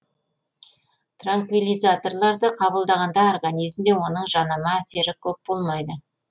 транквилизаторларды қабылдағанда организмде оның жанама әсері көп болмайды